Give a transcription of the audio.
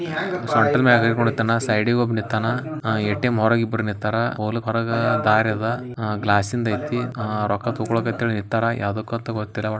ಇದು cup ATM ಅತ್ತವ ಒಳಗೊಬ್ಬರು ಕುತರ.